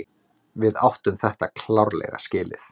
Við áttum þetta klárlega skilið.